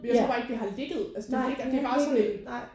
Ja nej det har ikke ligget nej